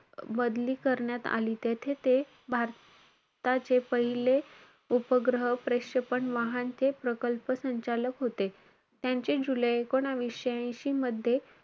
बदली करण्यात आली. तेथे ते भारताचे पहिले उपग्रह प्रक्षेपण वाहनचे प्रकल्प संचालक होते. त्यांचे जुलै एकूणवीसशे ऐंशी मध्ये,